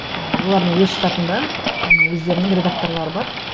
ы олардың өз штатында м өздерінің редакторлары бар